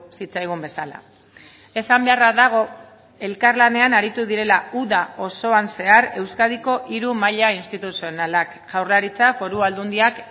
zitzaigun bezala esan beharra dago elkarlanean aritu direla uda osoan zehar euskadiko hiru maila instituzionalak jaurlaritza foru aldundiak